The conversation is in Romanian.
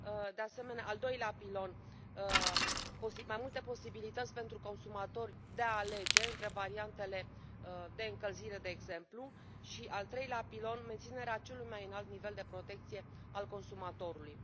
de asemenea, al doilea pilon mai multe posibilități pentru consumatori de a alege între variantele de încălzire, de exemplu, și al treilea pilon menținerea celui mai înalt nivel de protecție al consumatorului.